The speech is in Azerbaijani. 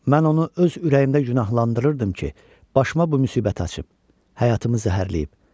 Mən onu öz ürəyimdə günahlandırırdım ki, başıma bu müsibət açıb, həyatımı zəhərləyib.